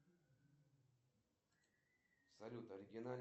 афина можно найти фильм шалун